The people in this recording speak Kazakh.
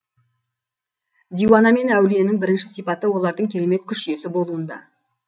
диуана мен әулиенің бірінші сипаты олардың керемет күш иесі болуында